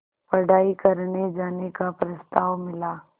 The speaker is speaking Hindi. पढ़ाई करने जाने का प्रस्ताव मिला